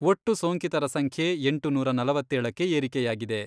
ಒಟ್ಟು ಸೋಂಕಿತರ ಸಂಖ್ಯೆ ಎಂಟುನೂರ ನಲವತ್ತೇಳಕ್ಕೆ ಏರಿಕೆಯಾಗಿದೆ.